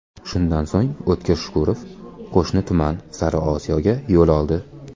Shundan so‘ng, O‘tkir Shukurov qo‘shni tuman Sariosiyoga yo‘l oldi.